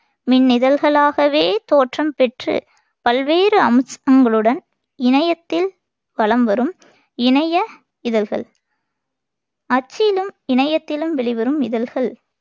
மின்னிதழ்களாகவே தோற்றம் பெற்றுப் பல்வேறு அம்சங்களுடன் இணையத்தில் வலம் வரும் இணைய இதழ்கள் அச்சிலும் இணையத்திலும் வெளிவரும் இதழ்கள்